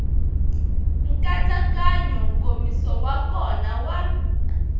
nkatsakanyo nkomiso wa kona wa